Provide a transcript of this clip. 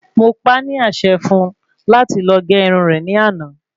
Mo pá ní àsẹ fún un láti lọ gé irun rè ní àná